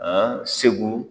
An segu.